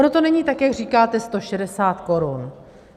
Ono to není tak, jak říkáte, 160 korun.